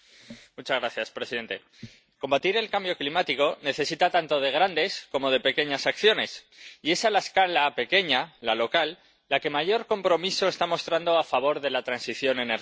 Señor presidente, combatir el cambio climático necesita tanto de grandes como de pequeñas acciones, y esa escala —la pequeña, la local— es la que mayor compromiso está mostrando a favor de la transición energética.